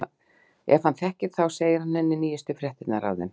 Ef hann þekkir þá segir hann henni nýjustu fréttir af þeim.